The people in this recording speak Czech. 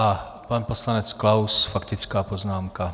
A pan poslanec Klaus, faktická poznámka.